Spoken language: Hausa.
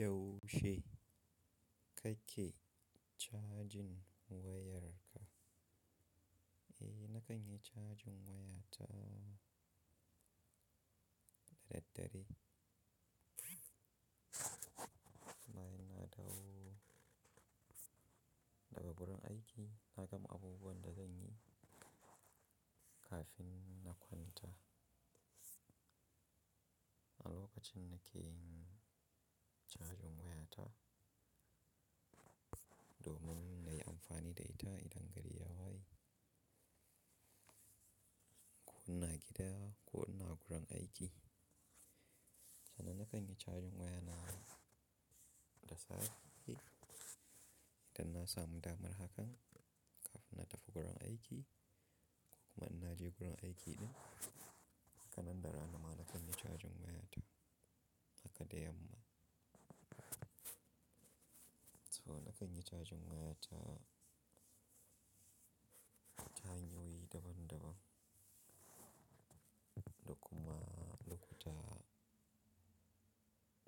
Yaushe kake cajin wayarka? Eh, na kan yi cajin wayata da daddare. Na yi na dawo daga wurin aiki, na gama abubuwan da zan yi kafin na kwanta. A lokacin na ke yin cajin wayata, domin na yi amfani da ita idan gari ya waye. Ko ina gida ko ina gurin aiki. Saboda na kan yi cajin wayana da safe, idan na samu damar hakan, kafin na tafi wurin aiki ko kuma in na je wurin aiki ɗin, haka nan da rana ma na kan yi cajin wayata haka da yamma. So na kan yi cajin wayata hanyoyi daban daban, da kuma lokuta